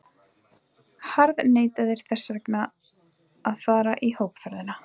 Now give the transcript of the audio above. harðneitaðir þess vegna að fara í hópferð!